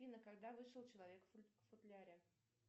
афина когда вышел человек в футляре